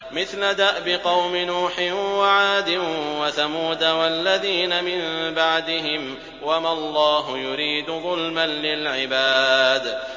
مِثْلَ دَأْبِ قَوْمِ نُوحٍ وَعَادٍ وَثَمُودَ وَالَّذِينَ مِن بَعْدِهِمْ ۚ وَمَا اللَّهُ يُرِيدُ ظُلْمًا لِّلْعِبَادِ